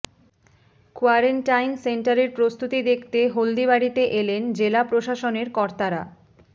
quarantine সেন্টারের প্রস্তুতি দেখতে হলদিবাড়িতে এলেন জেলা প্রশাসনের কর্তারা